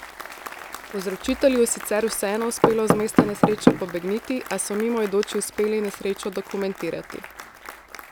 Povzročitelju je sicer vseeno uspelo z mesta nesreče pobegniti, a so mimoidoči uspeli nesrečo dokumentirati.